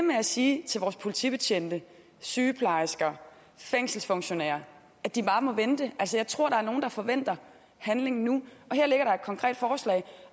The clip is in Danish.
med at sige til vores politibetjente sygeplejersker fængselsfunktionærer at de bare må vente altså jeg tror der er nogle der forventer handling nu og konkret forslag